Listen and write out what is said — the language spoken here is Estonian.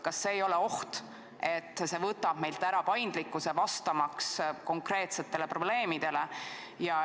Kas siin ei ole ohtu, et see võtab meilt ära paindlikkuse vastamaks konkreetsetele probleemidele.